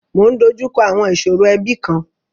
Mọ ń dojú kọ àwọn ìṣòro ẹbi kan.